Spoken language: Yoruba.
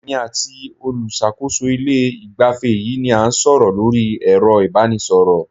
Èmi àti olùṣàkóso ilé ìgbafẹ́ yìí ni a ń sọ̀rọ̀ lórí ẹ̀rọ ìbánisọ̀rọ̀.